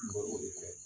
N b'o de kɛ